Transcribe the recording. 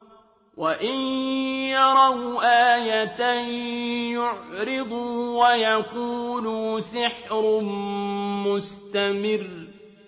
وَإِن يَرَوْا آيَةً يُعْرِضُوا وَيَقُولُوا سِحْرٌ مُّسْتَمِرٌّ